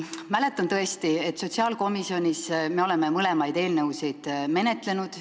Mäletan tõesti, et sotsiaalkomisjonis me oleme mõlemat eelnõu menetlenud.